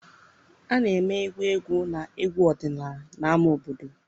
A na-eme egwu egwu na egwu ọdịnala na ámá obodo.